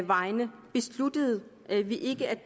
vegne besluttede vi ikke at